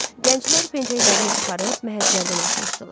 Gənclər pencəklərini çıxarıb məhəccərdən asmışdılar.